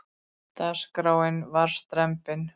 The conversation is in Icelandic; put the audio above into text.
Dagskráin var strembin.